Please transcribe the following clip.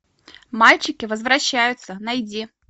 мальчики возвращаются найди